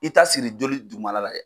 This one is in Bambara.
I t'a siri joli dugumana la dɛ.